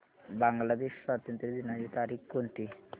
बांग्लादेश स्वातंत्र्य दिनाची तारीख कोणती